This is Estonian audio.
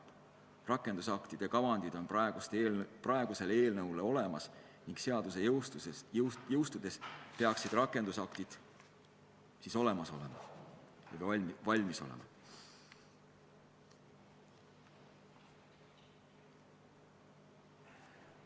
Uue seaduse rakendusaktide kavandid on olemas ning seaduse jõustudes peaksid rakendusaktid valmis olema.